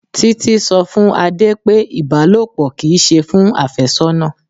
Títí sọ fún Adé pé Ibalopo kì í ṣe fún afésónà.